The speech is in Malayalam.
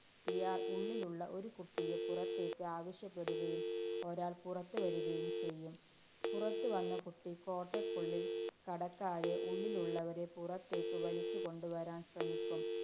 ഇയാള്‍ ഉള്ളിലുള്ള ഒരു കുട്ടിയെ പുറത്തേക്ക് ആവശ്യപ്പെടുകയും ഒരാള്‍ പുറത്ത് വരികയും ചെയ്യും. പുറത്തുവന്ന കുട്ടി 'കോട്ട'യ്ക്കുള്ളില്‍ കടക്കാതെ ഉള്ളിലുള്ളവരെ പുറത്തേക്ക് വലിച്ചുകൊണ്ട് വരാന്‍ ശ്രമിക്കും.